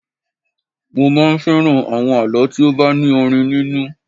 Mo máa ń fẹ́ràn àwọn àlọ́ tí ó bá ní orin nínú